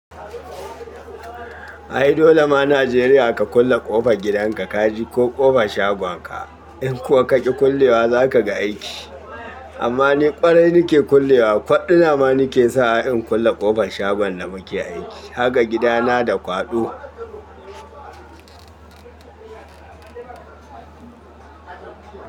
Ai dole ma Najeriya ka kulle ƙofar gidanka kaji ko ƙofar shagonka. In kuwa ka ki kullewa za ka ga aiki. Amma ni ƙwarai nake kullewa, kwaɗina ma nake sa in kulle ƙofar shagon da muke aiki. Haka gidana da kwaɗo.